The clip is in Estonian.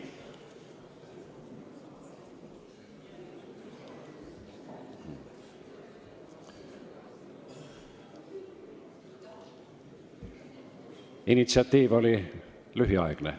See initsiatiiv oli lühiaegne.